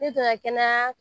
Ne tɔgɔ ye kɛnɛya